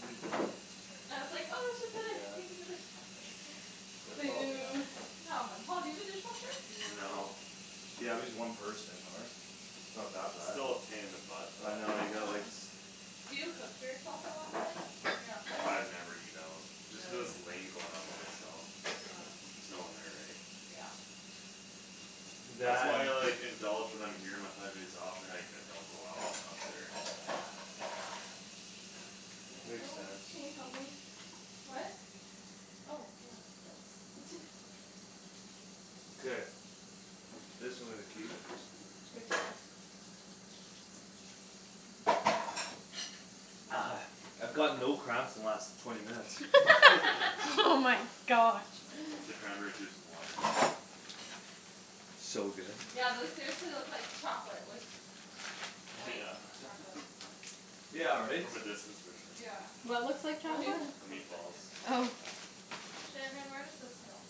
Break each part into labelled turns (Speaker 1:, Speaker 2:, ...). Speaker 1: Are you done?
Speaker 2: I was like, "Oh, we should put our
Speaker 1: Yeah.
Speaker 2: thing in the dishwasher."
Speaker 1: They're probably
Speaker 2: Boo.
Speaker 3: Boo.
Speaker 2: Come on. Paul, do you have a dishwasher?
Speaker 4: No.
Speaker 3: No.
Speaker 1: Yeah, just one person though, right? Not that bad.
Speaker 4: Still a pain in the butt though.
Speaker 1: I know, you gotta, like
Speaker 3: Yeah.
Speaker 2: Do you cook for yourself a lot then? When you're up there?
Speaker 4: I never eat out. Just cuz it's
Speaker 2: Really?
Speaker 4: lame going out by myself.
Speaker 2: Yeah.
Speaker 4: There's no one there, eh?
Speaker 2: Yeah.
Speaker 4: That's
Speaker 1: That
Speaker 4: why
Speaker 1: and
Speaker 4: I, like, indulge when I'm here my five days off and, like, I don't go out when I'm up there.
Speaker 2: Yeah.
Speaker 3: Yeah,
Speaker 1: Makes
Speaker 3: oh,
Speaker 1: sense.
Speaker 3: can you help me?
Speaker 2: What? Oh, yeah.
Speaker 3: Thanks.
Speaker 1: Okay. This I'm gonna keep.
Speaker 3: Take four.
Speaker 1: I've got no cramps the last twenty minutes.
Speaker 3: Oh my gosh.
Speaker 4: The cranberry juice and water.
Speaker 1: So good.
Speaker 2: Yeah, those seriously look like chocolate with White
Speaker 4: Yeah.
Speaker 2: chocolate
Speaker 1: Yeah, right?
Speaker 4: From a distance for sure.
Speaker 2: Yeah.
Speaker 3: What looks like
Speaker 2: Well,
Speaker 3: chocolate?
Speaker 2: even it
Speaker 4: The
Speaker 2: cooks like
Speaker 4: meatballs.
Speaker 2: you.
Speaker 3: Oh.
Speaker 2: Shandryn, where does this go?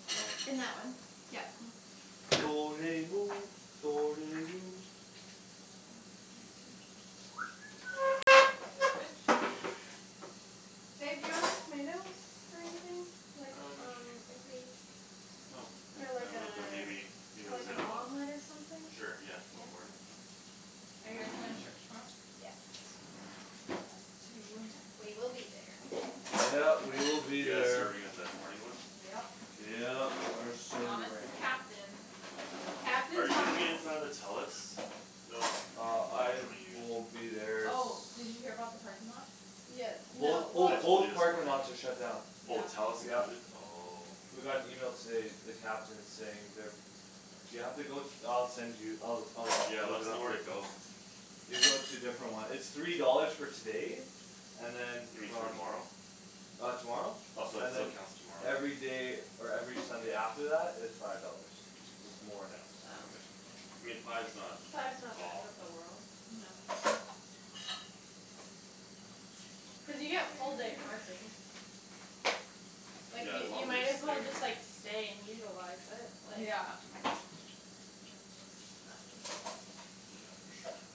Speaker 3: In that one, yeah.
Speaker 2: Garbage?
Speaker 3: Babe, do you want these tomatoes for anything? Like,
Speaker 4: Um.
Speaker 3: um if we
Speaker 4: I don't think
Speaker 3: For like
Speaker 4: I
Speaker 3: a,
Speaker 4: would but maybe if
Speaker 3: for
Speaker 4: it was
Speaker 3: like an
Speaker 4: Ziploc.
Speaker 3: omelet or something?
Speaker 4: Sure, yeah,
Speaker 3: Yeah? Okay.
Speaker 4: tomorrow morning?
Speaker 2: Are you guys going to church tomorrow?
Speaker 3: Yes.
Speaker 2: Us too.
Speaker 3: We will be there.
Speaker 1: Yep, we will be
Speaker 4: You guys
Speaker 1: there.
Speaker 4: serving at the morning one?
Speaker 2: Yep.
Speaker 1: Yep, we're
Speaker 2: Thomas is
Speaker 1: serving.
Speaker 2: captain.
Speaker 3: Captain
Speaker 4: Are you gonna be
Speaker 3: Thomas
Speaker 4: in front of the Telus building?
Speaker 1: Uh
Speaker 4: Or which
Speaker 1: I
Speaker 4: one are you
Speaker 1: will
Speaker 4: in?
Speaker 1: be there s-
Speaker 2: Oh, did you hear about the parking lots?
Speaker 3: Yeah,
Speaker 1: Both,
Speaker 3: no,
Speaker 1: oh,
Speaker 4: I
Speaker 3: well
Speaker 4: told you
Speaker 1: both
Speaker 4: this
Speaker 1: parking
Speaker 4: morning.
Speaker 1: lots are shut down.
Speaker 4: Oh,
Speaker 2: Yeah.
Speaker 4: Telus
Speaker 1: Yep.
Speaker 4: included? Oh.
Speaker 2: Mhm.
Speaker 1: We got an email today, the captain saying they're You have to go, I'll send you. I'll, I'll
Speaker 4: Yeah, let
Speaker 1: look it
Speaker 4: us know
Speaker 1: up
Speaker 4: where
Speaker 1: for
Speaker 4: to
Speaker 1: you.
Speaker 4: go.
Speaker 1: You go to a different one. It's three dollars for today. And then
Speaker 4: You mean
Speaker 1: from
Speaker 4: tomorrow?
Speaker 1: Uh tomorrow?
Speaker 4: Oh, so it,
Speaker 1: And
Speaker 4: so it
Speaker 1: then
Speaker 4: counts tomorrow.
Speaker 1: Everyday or every Sunday after that is Five dollars. So it's more now.
Speaker 3: Oh.
Speaker 4: Okay. I mean, five's not
Speaker 3: Five's not the end of the
Speaker 4: awful.
Speaker 3: world.
Speaker 2: No.
Speaker 3: Cuz you get full day parking. Like
Speaker 4: Yeah,
Speaker 3: you,
Speaker 4: as long
Speaker 3: you
Speaker 4: as you're
Speaker 3: might as well
Speaker 4: staying
Speaker 3: just, like,
Speaker 4: there.
Speaker 3: stay and utilize it, like
Speaker 2: Yeah.
Speaker 4: Yeah, for sure.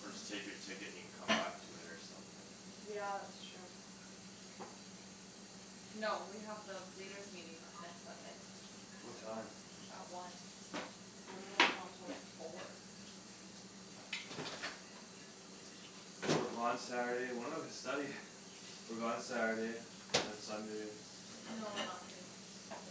Speaker 4: Or just take your ticket and you can come back to it or something.
Speaker 2: Yeah, it's true. No, we have the leaders' meeting, uh, next Sunday.
Speaker 1: What time?
Speaker 2: At one. So we won't be home till like four.
Speaker 1: So we're gone Saturday and when are we studying? We're gone Saturday, and then Sunday.
Speaker 2: No, we're not free next weekend.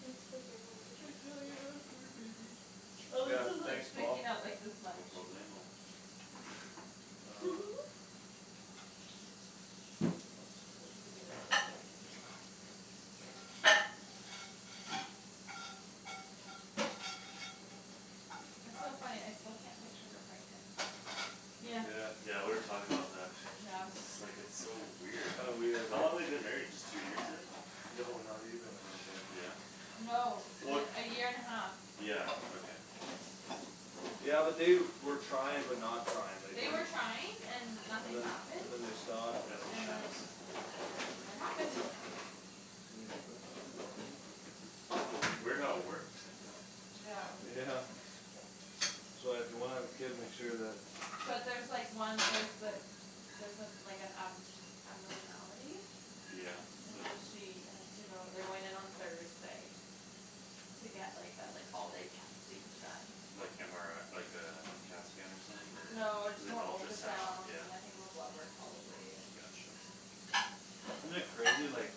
Speaker 3: Thanks for doing all the
Speaker 2: I
Speaker 3: dishes.
Speaker 2: feel like I have a food
Speaker 4: Mhm.
Speaker 2: baby. Oh,
Speaker 1: Yeah,
Speaker 2: this is, like,
Speaker 1: thanks, Paul.
Speaker 2: sticking out, like, this
Speaker 4: No
Speaker 2: much.
Speaker 4: problemo.
Speaker 1: Uh Want a cigarette?
Speaker 2: I could be like that now. It's so funny, I still can't picture her pregnant.
Speaker 3: Yeah.
Speaker 1: Yeah.
Speaker 4: Yeah, we were talking about that.
Speaker 2: Yeah.
Speaker 4: And just, like, it's so weird.
Speaker 1: Kinda weird,
Speaker 4: How
Speaker 1: eh?
Speaker 4: long they been married just two years, I think?
Speaker 1: No, not even, I don't think.
Speaker 4: Yeah?
Speaker 2: No.
Speaker 4: Well,
Speaker 2: The, a year and a half.
Speaker 4: yeah, okay.
Speaker 1: Yeah, but they were trying but not trying. Like
Speaker 2: They
Speaker 1: they're
Speaker 2: were trying and
Speaker 1: And
Speaker 2: nothing
Speaker 1: then,
Speaker 2: happened.
Speaker 1: and then they stopped and then
Speaker 4: That's what
Speaker 2: And
Speaker 4: Shannon
Speaker 2: then,
Speaker 4: said, yeah.
Speaker 2: and then it happened.
Speaker 1: Can you open that right
Speaker 2: Mhm.
Speaker 1: there?
Speaker 4: Weird how it works like that.
Speaker 2: Yeah.
Speaker 1: Yeah. So uh if you wanna have a kid make sure that
Speaker 2: But there's like one, like, the Theres some, like an ab- abnormality
Speaker 4: Yeah.
Speaker 2: And so she has to go, they're going in on Thursday. To get, like, uh like, all day testing done.
Speaker 4: Like MRI, like uh, CAT scan or something
Speaker 2: No, just more
Speaker 4: or ultrasound,
Speaker 2: ultrasounds
Speaker 4: yeah.
Speaker 2: and I think more blood work probably and
Speaker 4: Gotcha.
Speaker 1: Isn't it crazy like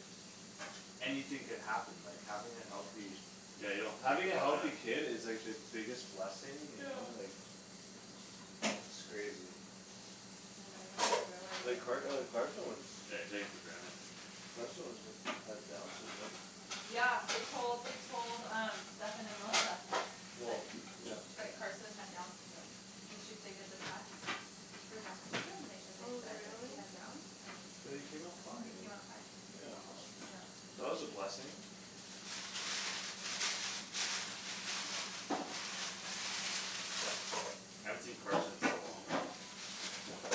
Speaker 1: Anything could happen, like, having a healthy
Speaker 4: Yeah, you don't think
Speaker 1: Having a
Speaker 4: about
Speaker 1: healthy
Speaker 4: it.
Speaker 1: kid is like the biggest blessing, you
Speaker 2: Yeah.
Speaker 1: know? Like It's crazy.
Speaker 2: You know, you don't really realize
Speaker 1: Like
Speaker 2: it
Speaker 1: Car- uh
Speaker 2: until
Speaker 1: Carson was
Speaker 4: Yeah, you take it for granted.
Speaker 1: Carson was had Downs Syndrome
Speaker 2: Yeah, they told, they told um Stephen and Melissa.
Speaker 1: Well,
Speaker 2: That,
Speaker 1: yeah.
Speaker 2: that Carson had Downs syndrome. So she, they did the test For Downs syndrome and they, and they
Speaker 3: Oh,
Speaker 2: said that he
Speaker 3: really?
Speaker 2: had Downs and
Speaker 1: But he came out
Speaker 2: he
Speaker 1: fine.
Speaker 2: came out fine.
Speaker 1: Yeah.
Speaker 3: Oh.
Speaker 2: Yeah.
Speaker 1: That was a blessing.
Speaker 4: I haven't seen Carson in so long.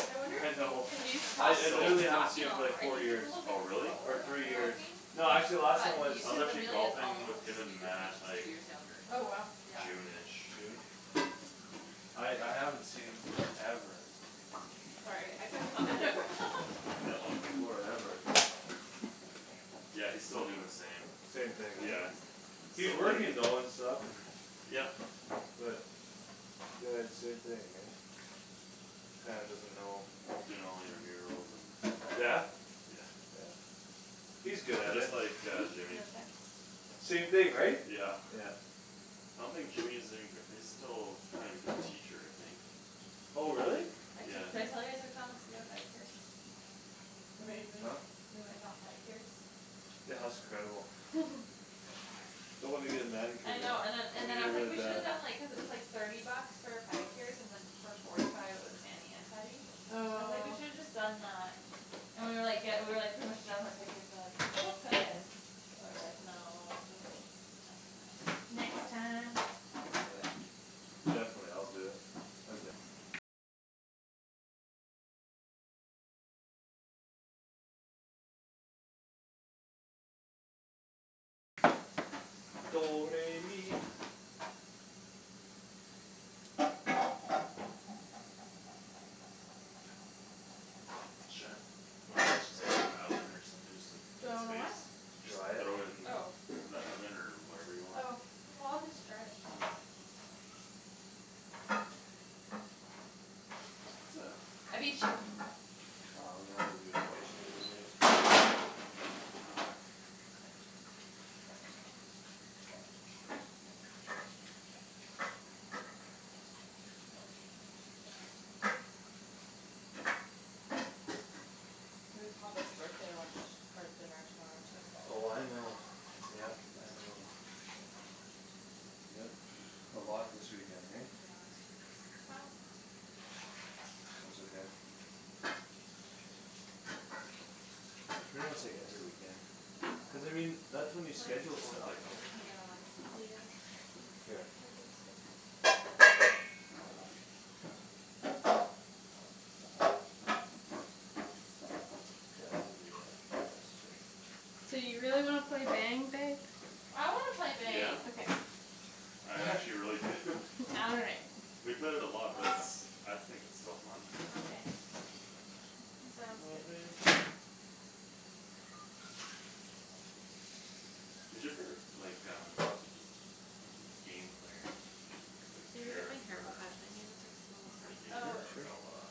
Speaker 3: I wonder if
Speaker 1: I
Speaker 3: he's gonna
Speaker 1: know.
Speaker 2: He's
Speaker 1: I,
Speaker 2: tal-
Speaker 4: He's
Speaker 3: come
Speaker 1: it,
Speaker 4: so
Speaker 2: he's
Speaker 1: literally haven't seen
Speaker 2: talking
Speaker 1: him
Speaker 2: a
Speaker 1: for
Speaker 2: lot more.
Speaker 1: like
Speaker 2: I
Speaker 1: four
Speaker 2: think he's a
Speaker 1: years.
Speaker 2: little bit
Speaker 4: Oh, really?
Speaker 1: Or
Speaker 2: slower on
Speaker 1: three
Speaker 2: the
Speaker 1: years.
Speaker 2: talking
Speaker 3: Oh.
Speaker 1: No, actually last time
Speaker 2: But he,
Speaker 1: was
Speaker 4: I was
Speaker 2: cuz
Speaker 4: actually
Speaker 2: Amelia's
Speaker 4: golfing
Speaker 2: almost
Speaker 4: with
Speaker 2: up to
Speaker 4: him and
Speaker 2: speed with him and
Speaker 4: Matt,
Speaker 2: she's
Speaker 4: like
Speaker 2: two years younger.
Speaker 3: Oh, wow.
Speaker 2: Yeah.
Speaker 4: June ish.
Speaker 1: June? I, I haven't seen him forever.
Speaker 2: Sorry, I could've
Speaker 4: All good.
Speaker 1: Forever.
Speaker 4: Yeah, he's still doin' the same.
Speaker 1: Same thing, right?
Speaker 4: Yeah,
Speaker 1: He's
Speaker 4: still
Speaker 1: working
Speaker 4: duty.
Speaker 1: though and stuff and
Speaker 4: Yep.
Speaker 1: But Uh same thing, right? Kinda doesn't know
Speaker 4: Doing all the intramurals and
Speaker 1: Yeah?
Speaker 4: Yeah.
Speaker 2: No
Speaker 1: He's good at
Speaker 4: Just
Speaker 1: it.
Speaker 4: like uh
Speaker 2: text?
Speaker 3: Hmm?
Speaker 4: Jimmy.
Speaker 2: No text?
Speaker 1: Same thing, right?
Speaker 4: Yeah.
Speaker 1: Yeah.
Speaker 4: I don't think Jimmy is even gra- he's still trying to become a teacher, I think.
Speaker 1: Oh, really?
Speaker 2: I
Speaker 4: Yeah.
Speaker 2: took, did I tell you I took Thomas to get a pedicure?
Speaker 3: Amazing.
Speaker 1: Huh?
Speaker 2: We went and got pedicures?
Speaker 1: Yeah, that was incredible. I wanna get a manicure
Speaker 2: I
Speaker 1: though.
Speaker 2: know, and then,
Speaker 1: I
Speaker 2: and then
Speaker 1: need
Speaker 2: I
Speaker 1: it
Speaker 2: was like,
Speaker 1: really
Speaker 2: we shoulda
Speaker 1: bad.
Speaker 2: done, like, cuz it was, like Thirty bucks for pedicures and then For forty five it was mani and pedi. I was like, "We
Speaker 3: Oh.
Speaker 2: should've just done uh" And we were, like, ge- we were, like, pretty much done with our pedicures and like We still could, but we were, like, "No, just next time."
Speaker 3: Next
Speaker 2: Next
Speaker 3: time.
Speaker 2: time I'll do it.
Speaker 1: Definitely, I'll do it. I'm down. We need to clean that table a little bit.
Speaker 2: Mhm.
Speaker 4: Shan, wanna just, just put this in the oven or something just to
Speaker 3: Do
Speaker 4: get
Speaker 3: I wanna what?
Speaker 4: space?
Speaker 2: It's
Speaker 4: Just
Speaker 1: Dry it?
Speaker 4: throw it
Speaker 2: not mine.
Speaker 4: in
Speaker 2: Oh.
Speaker 4: the oven or whatever you want?
Speaker 3: Oh. Oh, I'll just dry it.
Speaker 2: I beat you.
Speaker 1: Oh, that's a good place right in there.
Speaker 2: We have Papa's birthday lunch, or dinner tomorrow too.
Speaker 1: Oh, I know. Yep, I know. Yep, a lot this weekend, hey?
Speaker 2: Yeah, this weekend's packed.
Speaker 1: That's okay.
Speaker 4: Might
Speaker 1: It's pretty
Speaker 4: try
Speaker 1: much
Speaker 4: to
Speaker 1: like
Speaker 4: hold her
Speaker 1: every
Speaker 4: in
Speaker 1: weekend.
Speaker 4: for like another
Speaker 1: Cuz I
Speaker 4: half an hour.
Speaker 1: mean, that's when you
Speaker 3: What?
Speaker 1: schedule stuff. Right? And
Speaker 2: Yeah.
Speaker 3: Yeah.
Speaker 1: Here.
Speaker 3: I guess so.
Speaker 1: K, I'll do the uh, the rest here.
Speaker 3: Do you really wanna play Bang, babe?
Speaker 2: I wanna play
Speaker 4: Yeah.
Speaker 2: Bang.
Speaker 3: Okay.
Speaker 4: I actually really do.
Speaker 3: All right.
Speaker 4: We've played it a lot but it's, I think it's still fun.
Speaker 3: Okay, sounds good.
Speaker 4: Who's your favorite, like um Game player? Like
Speaker 2: Need to get
Speaker 4: sheriff
Speaker 2: my hair
Speaker 4: or
Speaker 2: cut. I need to text Melissa.
Speaker 4: Renegade
Speaker 3: Oh.
Speaker 4: or
Speaker 1: Sure.
Speaker 4: outlaw?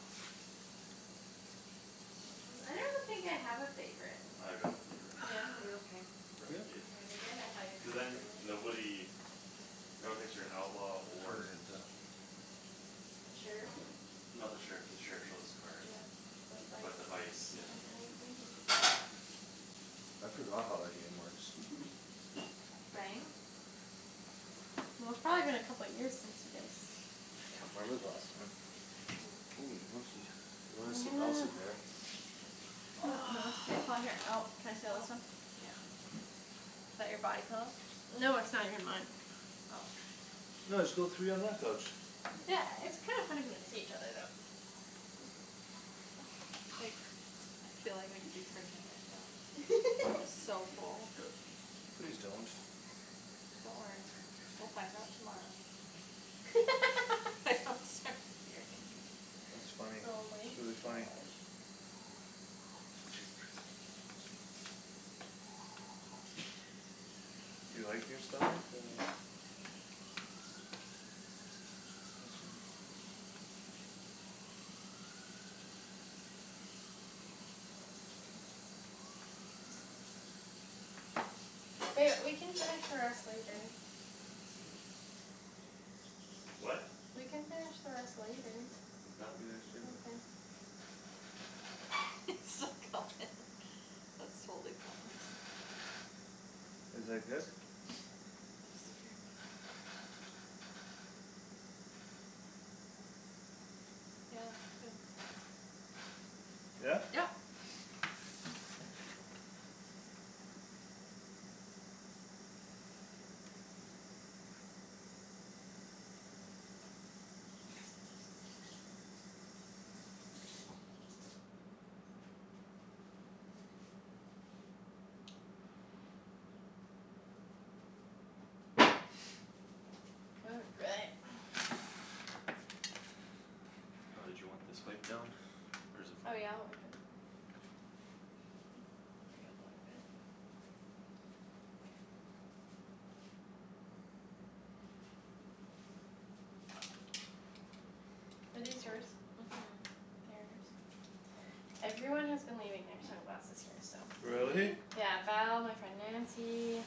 Speaker 3: I don't think I have a favorite.
Speaker 4: I got a favorite.
Speaker 3: Yeah? Like
Speaker 2: Are you okay?
Speaker 1: Yeah?
Speaker 4: Renegade.
Speaker 3: Renegade? I thought you
Speaker 4: Cuz
Speaker 3: were
Speaker 4: then
Speaker 3: gonna say that.
Speaker 4: nobody No one thinks you're an outlaw
Speaker 1: For
Speaker 4: or
Speaker 1: an exam.
Speaker 3: The sheriff?
Speaker 4: No, the sheriff, the sheriff shows his card.
Speaker 3: Yeah,
Speaker 4: But
Speaker 3: the
Speaker 4: the
Speaker 3: vice.
Speaker 4: vice, yeah.
Speaker 3: Oh, anything.
Speaker 1: I forgot how that game works.
Speaker 2: Bang?
Speaker 3: Well, it's probably been a couple years since you guys
Speaker 1: I can't remember the last time. Oh, monkey. You wanna
Speaker 3: I'm
Speaker 1: sit, I'll
Speaker 3: gonna
Speaker 1: sit there.
Speaker 3: K, Paul, here. Oh, can I steal
Speaker 2: Oh,
Speaker 3: this one?
Speaker 2: yeah. Is that your body pillow?
Speaker 3: No, it's not even mine.
Speaker 2: Oh.
Speaker 1: No, just go three on my couch.
Speaker 3: Yeah, it's kinda funny if you can see each other though.
Speaker 2: Like, I feel like I could be pregnant right now. I'm so full.
Speaker 1: Please don't.
Speaker 2: Don't worry, we'll find out tomorrow. I hope, sorry, here, hey.
Speaker 1: That's funny.
Speaker 3: Oh my
Speaker 1: It's really funny.
Speaker 3: gosh.
Speaker 1: You like, you're starting to
Speaker 3: Ba- we can finish the rest later.
Speaker 4: What?
Speaker 3: We can finish the rest later.
Speaker 4: I'm done.
Speaker 3: Okay.
Speaker 2: He's still going. That's totally Thomas.
Speaker 1: Is like this?
Speaker 2: Scared me. Yeah, since
Speaker 1: Yeah?
Speaker 2: Yep.
Speaker 3: All right.
Speaker 4: Oh, did you want this wiped down? Or is it fine?
Speaker 3: Oh yeah, like that. Bring it Are these yours?
Speaker 2: Mhm.
Speaker 3: Theirs? Everyone has been leaving their sunglasses here, so.
Speaker 1: Really?
Speaker 2: Really?
Speaker 3: Yeah. Val, my friend Nancy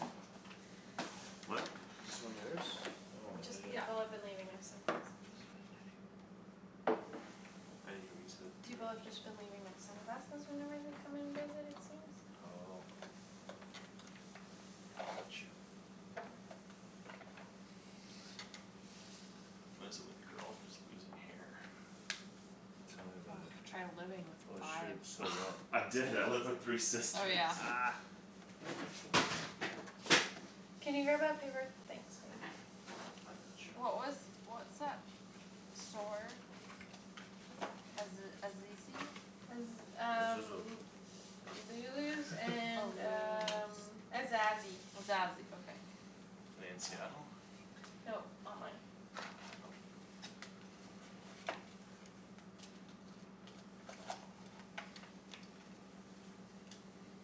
Speaker 4: What?
Speaker 1: Is this one yours? Oh, I
Speaker 3: Just,
Speaker 1: hate it.
Speaker 2: Yeah.
Speaker 3: people have been leaving their sunglasses.
Speaker 2: I'm just about done here.
Speaker 4: I didn't hear what you said,
Speaker 3: People
Speaker 4: sorry.
Speaker 3: have just been leaving their sunglasses whenever they're coming to visit, it seems.
Speaker 4: Oh. Got you. What is it with girls and just losing hair?
Speaker 1: Tell me about
Speaker 2: Oh,
Speaker 1: it.
Speaker 2: try living with
Speaker 1: Oh,
Speaker 2: five.
Speaker 1: shoot, stole that.
Speaker 4: I
Speaker 3: Oh, is
Speaker 4: did, I lived with
Speaker 3: it?
Speaker 4: three
Speaker 2: Oh,
Speaker 4: sisters.
Speaker 2: yeah.
Speaker 3: Can you grab that paper- thanks, babe.
Speaker 4: I got you.
Speaker 2: What was, what's that store? Aze- Azizi?
Speaker 3: Cuz um Lulu's
Speaker 2: Oh,
Speaker 3: and
Speaker 2: Lulu's.
Speaker 3: um Azazi.
Speaker 2: Azazi, okay.
Speaker 4: In Seattle?
Speaker 3: Nope, online.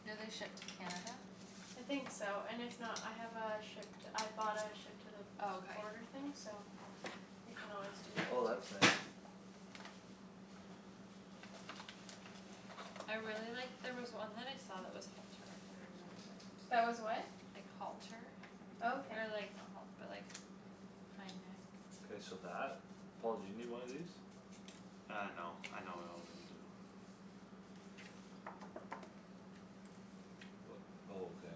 Speaker 2: Do they ship to Canada?
Speaker 3: I think so, and if not, I have a ship to, I bought a ship to the
Speaker 2: Oh, okay.
Speaker 3: border thing so You
Speaker 2: I
Speaker 3: can
Speaker 2: want
Speaker 3: always
Speaker 2: us
Speaker 3: do
Speaker 2: to
Speaker 3: that
Speaker 2: do
Speaker 1: Oh, that's
Speaker 2: it too.
Speaker 3: too.
Speaker 1: nice.
Speaker 2: I really liked, there was one that I saw that was halter that I really liked.
Speaker 3: That was what?
Speaker 2: Like halter.
Speaker 3: Oh, okay.
Speaker 2: Or like, not halt- but like Kinda
Speaker 1: K, so that? Paul, do you need one of these?
Speaker 4: Uh, no, I know what all of them do.
Speaker 1: Oh, okay.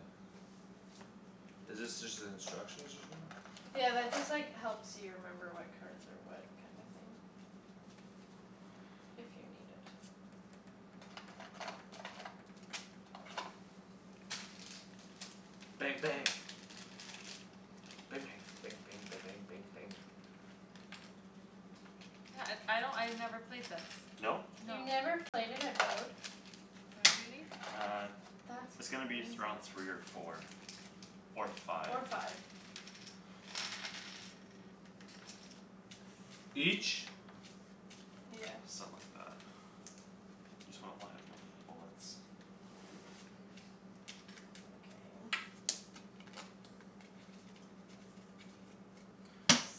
Speaker 1: Is this just the instructions or something?
Speaker 3: Yeah, that just, like, helps you remember what cards are what kinda thing. If you need it.
Speaker 1: Bang, bang. Ba- bang. Bang bang ba- bang bang bang.
Speaker 2: Yeah, uh I don't, I never played this.
Speaker 4: No?
Speaker 2: No.
Speaker 3: You
Speaker 2: Mm- mm
Speaker 3: never played it at
Speaker 2: What, baby?
Speaker 4: Uh,
Speaker 3: That's
Speaker 4: it's gonna be
Speaker 3: crazy.
Speaker 4: th- around three or four. Or five.
Speaker 3: Or five.
Speaker 1: Each?
Speaker 3: Yeah.
Speaker 4: Something like that. Just wanna why I'm looking for bullets.
Speaker 3: Okay.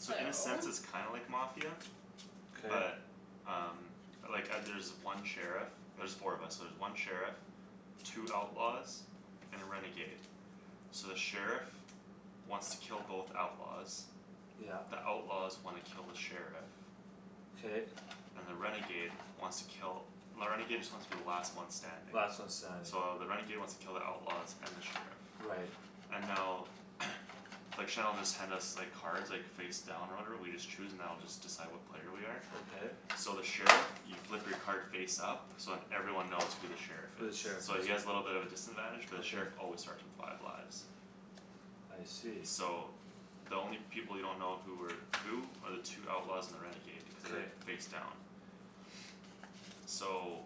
Speaker 4: So
Speaker 3: So
Speaker 4: in a sense it's kinda like Mafia.
Speaker 1: K.
Speaker 4: But um Like uh there's one sheriff. There's four of us so there's one sheriff Two outlaws And a renegade. So the sheriff Wants to kill both outlaws.
Speaker 1: Yep.
Speaker 4: The outlaws wanna kill the sheriff.
Speaker 1: K.
Speaker 4: And the renegade wants to kill, the renegade just wants to be the last one standing.
Speaker 1: Last one standing.
Speaker 4: So the renegade wants to kill the outlaws and the sheriff.
Speaker 1: Right.
Speaker 4: And now Like Shan'll just hand us, like, cards, like, face down or whatever, we just choose and that'll just decide what player we are.
Speaker 1: Okay.
Speaker 4: So the sheriff, you flip your card face up So then everyone knows who the sheriff
Speaker 1: Who the
Speaker 4: is.
Speaker 1: sheriff
Speaker 4: So
Speaker 1: is.
Speaker 4: he has little bit of a disadvantage but the
Speaker 1: Okay.
Speaker 4: sheriff always starts with five lives.
Speaker 1: I see.
Speaker 4: So the only people you don't know who are Who are the two outlaws and the renegade. Cuz
Speaker 1: K.
Speaker 4: they're face down. So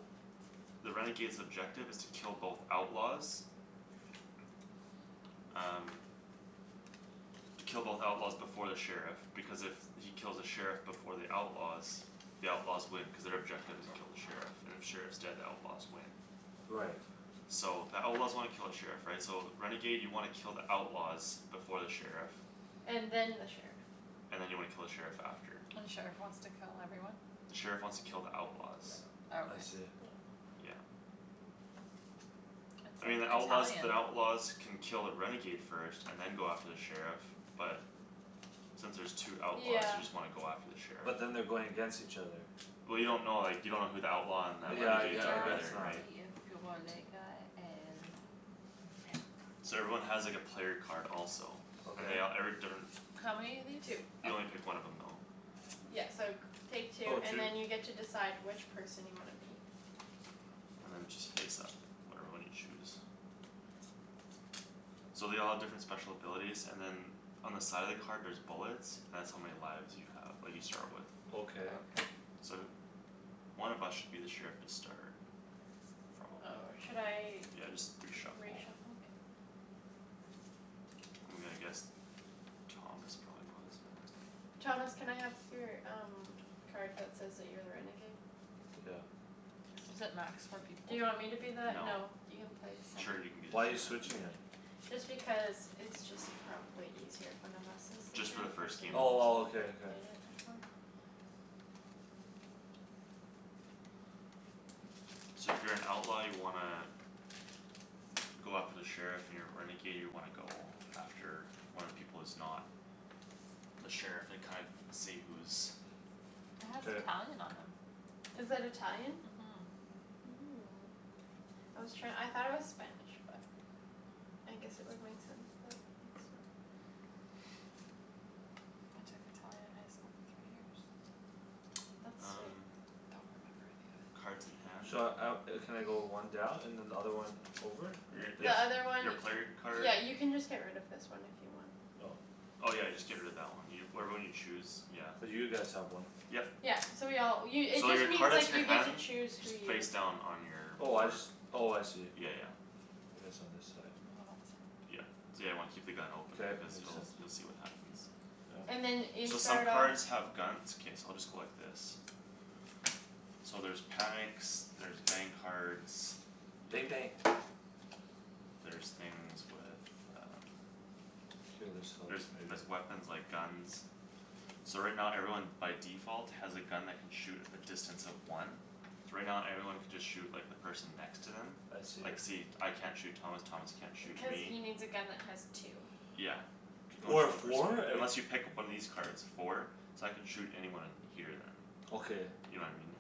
Speaker 4: the renegade's objective is to kill both outlaws Um Kill both outlaws before the sheriff, because if he kills the sheriff before the outlaws The outlaws win cuz their objective is kill the sheriff. And if sheriff's dead, the outlaws win.
Speaker 1: Right.
Speaker 4: So the outlaws wanna kill the sheriff, right? So renegade you wanna kill the outlaws. Before the sheriff
Speaker 3: And then the sheriff.
Speaker 4: And then you wanna kill the sheriff after.
Speaker 2: And the sheriff wants to kill everyone?
Speaker 4: The sheriff wants to kill the outlaws.
Speaker 1: I
Speaker 2: Okay.
Speaker 1: see.
Speaker 4: Yeah.
Speaker 2: It's
Speaker 4: I mean,
Speaker 2: in
Speaker 4: the outlaws,
Speaker 2: Italian.
Speaker 4: the outlaws Can kill a renegade first and then go after the sheriff but Since there's two outlaws
Speaker 3: Yeah.
Speaker 4: you just wanna go after the sheriff.
Speaker 1: But then they're going against each other.
Speaker 4: Well, you don't know, like, you don't know who the outlaw and the
Speaker 1: Yeah, I gue-
Speaker 4: renegades
Speaker 1: I
Speaker 4: are
Speaker 1: guess
Speaker 4: either,
Speaker 1: not.
Speaker 4: right?
Speaker 3: Two.
Speaker 4: So everyone has, like, a player card also. And
Speaker 1: Okay.
Speaker 4: they all, every different
Speaker 2: How many of these?
Speaker 3: Two.
Speaker 4: You only pick one of them though.
Speaker 3: Yeah, so g- take two
Speaker 1: Oh,
Speaker 3: and
Speaker 1: two.
Speaker 3: then you decide which person you wanna be.
Speaker 4: And then just face up whatever one you choose. So they all have different special abilities and then On the side of the card there's bullets. That's how many lives you have that you start with.
Speaker 2: Okay.
Speaker 1: Okay.
Speaker 4: So th- One of us should be the sheriff to start. Probably.
Speaker 3: Oh, should I
Speaker 4: Yeah, just re-shuffle.
Speaker 3: re-shuffle?
Speaker 4: I'm gonna guess Thomas probably was or
Speaker 3: Thomas, can I have your um card that says that you're a renegade?
Speaker 1: Took out.
Speaker 2: Is it max four people?
Speaker 3: Do you want me to be that?
Speaker 4: No.
Speaker 3: No, you can play
Speaker 4: Sure,
Speaker 3: seven.
Speaker 4: you can be the
Speaker 1: Why you
Speaker 4: sheriff.
Speaker 1: switching it?
Speaker 3: Just because it's just probably easier. If one of us is the
Speaker 4: Just for the
Speaker 3: sheriff versus
Speaker 4: first game.
Speaker 1: Oh, well, okay, okay.
Speaker 3: played it before.
Speaker 4: So if you're an outlaw you wanna Go after the sheriff, you're a renegade, you wanna go after one of the people who's not The sheriff and kind- see who's
Speaker 2: It has
Speaker 1: K.
Speaker 2: Italian on 'em.
Speaker 3: Is that Italian?
Speaker 2: Mhm.
Speaker 3: Oh, I was try- I thought it was Spanish, but I guess it would make sense that it's not.
Speaker 2: I took Italian in high school for three years.
Speaker 3: That's sweet.
Speaker 4: Um
Speaker 2: Don't remember any of it.
Speaker 4: Cards in hand.
Speaker 1: Should I out, uh can I go one down and another one over?
Speaker 4: Your,
Speaker 3: Th-
Speaker 1: Like this?
Speaker 3: the
Speaker 4: your,
Speaker 3: other one
Speaker 4: your player card.
Speaker 3: Yeah, you can just get rid of this one if you want.
Speaker 1: Oh.
Speaker 4: Oh, yeah, just get rid of that one. Whatever one you choose, yeah.
Speaker 1: Cuz you guys have one.
Speaker 4: Yep.
Speaker 3: Yeah, so we all, you it
Speaker 4: So
Speaker 3: just
Speaker 4: your card
Speaker 3: means,
Speaker 4: is in
Speaker 3: like,
Speaker 4: your
Speaker 3: you get to
Speaker 4: hand.
Speaker 3: choose who
Speaker 4: Just
Speaker 3: you
Speaker 4: face down on your
Speaker 1: Oh, I
Speaker 4: board.
Speaker 1: just, oh, I see.
Speaker 4: Yeah, yeah.
Speaker 1: It is on this side.
Speaker 4: Yeah, yeah, you wanna keep the gun open
Speaker 1: K, it
Speaker 4: because
Speaker 1: makes
Speaker 4: you'll,
Speaker 1: sense.
Speaker 4: you'll see what happens.
Speaker 1: Yeah.
Speaker 3: And then you
Speaker 4: So some
Speaker 3: start off
Speaker 4: cards have guns, it's okay, so I'll just go like this. So there's panics, there's bang cards
Speaker 1: Bang bang.
Speaker 4: There's things with um
Speaker 1: K, this helps
Speaker 4: There's,
Speaker 1: maybe.
Speaker 4: there's weapons, like, guns. So right now everyone by default has a gun that can shoot at a distance of one. So right now everyone can just shoot, like, the person next to them.
Speaker 1: I
Speaker 4: Like,
Speaker 1: see.
Speaker 4: see, I can't shoot Thomas, Thomas can't shoot
Speaker 3: Cuz
Speaker 4: me.
Speaker 3: he needs a gun that has two.
Speaker 4: Yeah. You can only
Speaker 1: Or a
Speaker 4: shoot one person with
Speaker 1: four?
Speaker 4: it,
Speaker 1: Like
Speaker 4: unless you pick up one of these cards. Four? So I can shoot anyone here then.
Speaker 1: Okay.
Speaker 4: You know what I mean?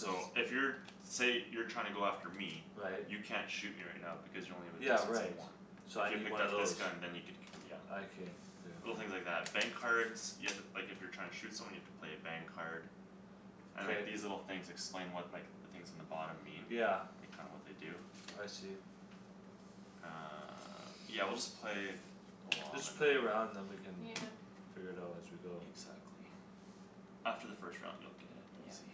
Speaker 1: So
Speaker 4: So if you're, say you're trying to go after me.
Speaker 1: Right.
Speaker 4: You can't shoot me right now because you only have a
Speaker 1: Yeah,
Speaker 4: distance of
Speaker 1: right,
Speaker 4: one.
Speaker 1: so
Speaker 4: So
Speaker 1: I
Speaker 4: if you
Speaker 1: need
Speaker 4: picked
Speaker 1: one of
Speaker 4: up this
Speaker 1: those.
Speaker 4: gun then you could, yeah.
Speaker 1: I can, okay.
Speaker 4: Little things like that. Bang cards You have to, like, if you're trying to shoot someone you have to play a bang card. And,
Speaker 1: K.
Speaker 4: like, these little things explain what, like The things in the bottom mean.
Speaker 1: Yeah.
Speaker 4: Like, kinda what they do.
Speaker 1: I see.
Speaker 4: Uh, yeah, we'll just play along
Speaker 1: Just
Speaker 4: and then
Speaker 1: play a round then we can
Speaker 3: Yeah.
Speaker 2: Yeah.
Speaker 1: figure it out as we go.
Speaker 4: Exactly. After the first round you'll get it,
Speaker 3: Yeah.
Speaker 4: easy.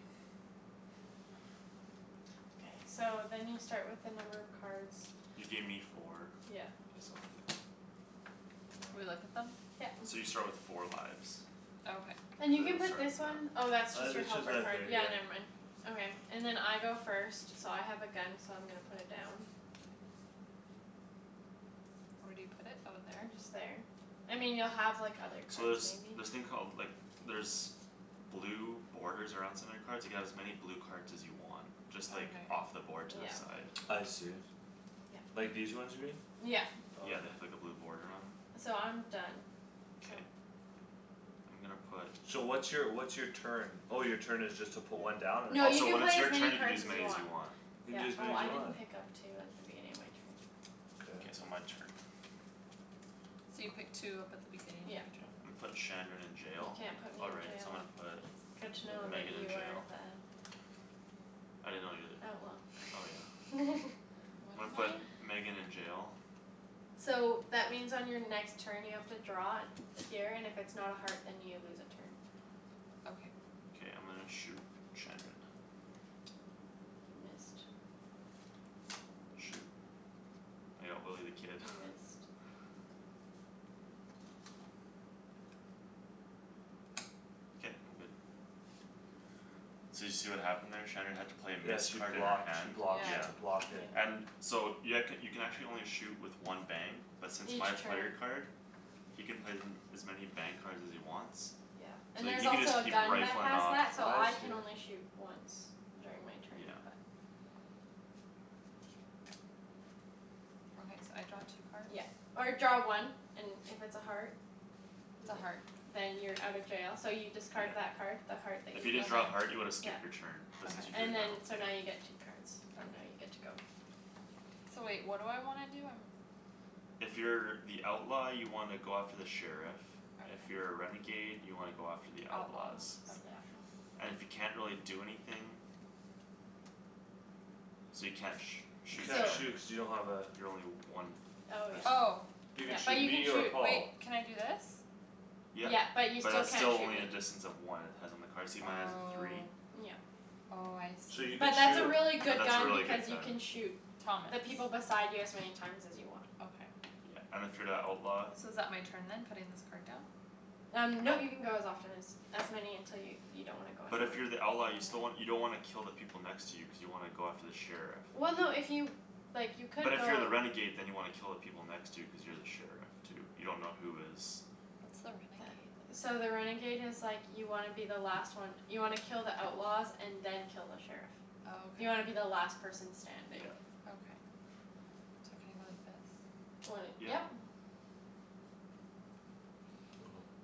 Speaker 3: K, so then you start with the number of cards
Speaker 4: You gave me four.
Speaker 3: Yeah.
Speaker 4: This'll do.
Speaker 2: Do we look at them?
Speaker 3: Yeah.
Speaker 4: So you start with four lives.
Speaker 2: Okay.
Speaker 3: And you
Speaker 4: You
Speaker 3: can
Speaker 4: guys'll
Speaker 3: put
Speaker 4: start
Speaker 3: this one
Speaker 4: on that.
Speaker 3: Oh, that's just
Speaker 1: Uh
Speaker 3: your
Speaker 1: it's just
Speaker 3: helper
Speaker 1: right
Speaker 3: card,
Speaker 1: there,
Speaker 3: yeah,
Speaker 1: yeah.
Speaker 3: never mind. Okay, and then I go first So I have a gun, so I'm gonna put it down.
Speaker 2: Where do you put it? Oh, there?
Speaker 3: And just there. I mean, you'll have, like, other
Speaker 4: So
Speaker 3: cards,
Speaker 4: there's
Speaker 3: maybe.
Speaker 4: this thing called, like, there's Blue borders around some of your cards. You can have as many blue cards as you want. Just like
Speaker 2: Okay.
Speaker 4: off the board to the
Speaker 3: Yeah.
Speaker 4: side.
Speaker 1: I see.
Speaker 3: Yeah.
Speaker 1: Like these ones here?
Speaker 3: Yeah.
Speaker 1: Okay.
Speaker 4: Yeah, they have, like, a blue boarder on 'em.
Speaker 3: So I'm done, so
Speaker 4: K. I'm gonna put
Speaker 1: So what's your, what's your turn? Oh, your turn is just to put one down? Or
Speaker 3: No,
Speaker 4: Oh,
Speaker 3: you
Speaker 4: so
Speaker 3: can
Speaker 4: when it's
Speaker 3: play as
Speaker 4: your
Speaker 3: many
Speaker 4: turn you can
Speaker 3: cards
Speaker 4: use as
Speaker 3: as you
Speaker 4: many as
Speaker 3: want.
Speaker 4: you want.
Speaker 1: You can
Speaker 3: Yeah.
Speaker 1: do as many
Speaker 3: Oh,
Speaker 1: as
Speaker 3: I
Speaker 1: you
Speaker 3: didn't
Speaker 1: want?
Speaker 4: Yeah.
Speaker 3: pick up two at the beginning of my turn.
Speaker 4: K, so
Speaker 1: Okay.
Speaker 4: my turn.
Speaker 2: So you pick two up at the beginning of your
Speaker 3: Yep.
Speaker 4: Yeah.
Speaker 2: turn?
Speaker 4: I'mma put Shandryn in
Speaker 3: You
Speaker 4: jail.
Speaker 3: can't put
Speaker 4: Oh,
Speaker 3: me in
Speaker 4: right, so I'm
Speaker 3: jail.
Speaker 4: gonna put
Speaker 3: Good to know that
Speaker 4: Megan in
Speaker 3: you are
Speaker 4: jail.
Speaker 3: the
Speaker 4: I didn't know you're
Speaker 3: Oh,
Speaker 4: the, oh, yeah.
Speaker 3: well.
Speaker 4: I'm
Speaker 2: What
Speaker 4: gonna
Speaker 2: am
Speaker 4: put
Speaker 2: I?
Speaker 4: Megan in jail.
Speaker 3: So that means on your next turn you have to draw Here and if it's not a heart then you lose a turn.
Speaker 2: Okay.
Speaker 4: K, I'm gonna shoot Shandryn.
Speaker 3: You missed.
Speaker 4: Shoot, I got Willy the Kid.
Speaker 3: You missed.
Speaker 4: K, I'm good. So did you see what happened there? Shandryn had to play a
Speaker 1: Yeah,
Speaker 4: miss
Speaker 1: she
Speaker 4: card in her
Speaker 1: blocked, she
Speaker 4: hand,
Speaker 1: blocked,
Speaker 4: yeah.
Speaker 1: she
Speaker 2: Yeah.
Speaker 1: blocked it.
Speaker 3: Yeah.
Speaker 4: And so you, I could, you can actually only shoot with one bang But since
Speaker 3: Each
Speaker 4: my player
Speaker 3: turn.
Speaker 4: card He can play them as many bang cards as he wants.
Speaker 3: Yeah.
Speaker 4: So
Speaker 3: And there's
Speaker 4: he can just
Speaker 3: also a
Speaker 4: keep
Speaker 3: gun that
Speaker 4: rifling
Speaker 3: has
Speaker 4: off.
Speaker 3: that so
Speaker 1: I
Speaker 3: I can
Speaker 1: see.
Speaker 3: only shoot once during my turn
Speaker 4: Yeah.
Speaker 3: but
Speaker 2: Okay, so I draw two cards?
Speaker 3: Yeah, or draw one. And if it's a heart
Speaker 2: It's a heart.
Speaker 3: Then you're out of jail, so you discard
Speaker 4: Yeah.
Speaker 3: that Card. the heart that
Speaker 4: If
Speaker 3: you
Speaker 4: you didn't
Speaker 3: just.
Speaker 4: draw a heart you would've
Speaker 3: yeah.
Speaker 4: skipped your turn, but since you
Speaker 2: Okay.
Speaker 4: drew it
Speaker 3: And
Speaker 4: now,
Speaker 3: then
Speaker 4: yeah.
Speaker 3: so now you get two cards and now you're
Speaker 2: Okay.
Speaker 3: good to go.
Speaker 2: So wait, what do I wanna do? I'm
Speaker 4: If you're the outlaw you wanna go after the sheriff. If
Speaker 2: Okay.
Speaker 4: you're a renegade you wanna go after the
Speaker 2: The
Speaker 4: outlaws.
Speaker 2: outlaws,
Speaker 3: Oops, yeah.
Speaker 2: okay.
Speaker 4: And if you can't really do anything So you can't sh-
Speaker 1: You
Speaker 4: shoot
Speaker 1: can't
Speaker 3: So
Speaker 4: Shan.
Speaker 1: shoot cuz you don't have a
Speaker 4: You're only one
Speaker 3: Oh
Speaker 4: distance.
Speaker 2: Oh.
Speaker 3: yeah,
Speaker 1: You
Speaker 3: yeah,
Speaker 1: could
Speaker 3: but
Speaker 1: shoot
Speaker 3: you can
Speaker 1: me or
Speaker 3: shoot.
Speaker 1: Paul.
Speaker 2: Wait, can I do this?
Speaker 4: Yep,
Speaker 3: Yeah, but you
Speaker 4: but
Speaker 3: still
Speaker 4: that's
Speaker 3: can't
Speaker 4: still
Speaker 3: shoot
Speaker 4: only
Speaker 3: me.
Speaker 4: a distance of one. It has on the card. See, mine has a three?
Speaker 2: Oh.
Speaker 3: Yeah.
Speaker 2: Oh, I
Speaker 1: So
Speaker 2: see.
Speaker 1: you
Speaker 3: But
Speaker 1: could
Speaker 4: Yeah, but
Speaker 3: that's a
Speaker 1: shoot
Speaker 3: really good
Speaker 4: that's a
Speaker 3: gun
Speaker 4: really
Speaker 3: because
Speaker 4: good
Speaker 3: you can
Speaker 4: gun.
Speaker 3: shoot
Speaker 2: Thomas.
Speaker 3: The people beside you as many times as you want.
Speaker 2: Okay.
Speaker 4: Yeah, and if you're the outlaw
Speaker 2: So is that my turn then? Putting this card down?
Speaker 3: Um nope, you can go as often as As many until you, you don't wanna go
Speaker 4: But
Speaker 3: anymore.
Speaker 4: if you're the outlaw you still wan- you don't wanna kill the people next to you cuz you wanna go after the sheriff.
Speaker 3: Well, no if you, like, you
Speaker 4: But
Speaker 3: could
Speaker 4: if you're
Speaker 3: go
Speaker 4: the renegade then you wanna kill the people next to you cuz you're the sheriff too. You dunno who is
Speaker 2: What's the
Speaker 3: That,
Speaker 2: renegade?
Speaker 3: so the renegade is like You wanna be the last one. You wanna kill the outlaws and then kill the sheriff.
Speaker 2: Oh, okay.
Speaker 3: You wanna be the last person
Speaker 4: Yeah.
Speaker 3: standing.
Speaker 2: Okay. So can I go like this?
Speaker 3: When it,
Speaker 4: Yep.
Speaker 3: yep.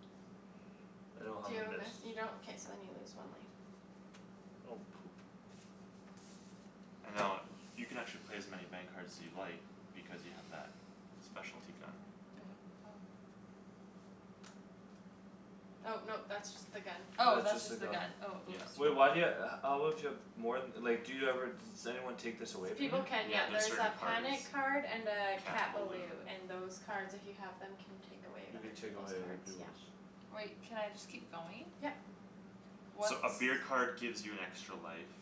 Speaker 1: I don't have
Speaker 3: Do you
Speaker 1: a
Speaker 3: have a
Speaker 1: miss.
Speaker 3: miss? You don't? K, so then you lose one life.
Speaker 1: Oh, poop.
Speaker 4: And now, uh, you can actually play as many bang cards as you like Because you have that
Speaker 2: Bang,
Speaker 4: specialty gun.
Speaker 2: go.
Speaker 3: Oh no, that's just the gun.
Speaker 2: Oh,
Speaker 1: That's
Speaker 2: that's
Speaker 1: just the
Speaker 2: just the
Speaker 1: gun.
Speaker 2: gun, oh,
Speaker 4: Yeah,
Speaker 2: oops.
Speaker 1: Wait,
Speaker 4: no.
Speaker 1: why do you ha- how would you have More th- like, do you ever just Anyone take this away from you?
Speaker 3: People can,
Speaker 4: Yeah,
Speaker 3: yeah,
Speaker 4: there's
Speaker 3: there's
Speaker 4: certain
Speaker 3: a
Speaker 4: cards.
Speaker 3: panic card and a
Speaker 4: Cat
Speaker 3: Cat
Speaker 4: balou.
Speaker 3: balou and those cards if you have Them can take away
Speaker 1: You
Speaker 3: other
Speaker 1: can take
Speaker 3: peoples'
Speaker 1: away other
Speaker 3: cards, yeah.
Speaker 1: peoples'.
Speaker 2: Wait, can I just keep going?
Speaker 3: Yep.
Speaker 2: What's
Speaker 4: So a beer card gives you an extra life.